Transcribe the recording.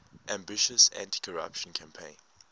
ambitious anticorruption campaign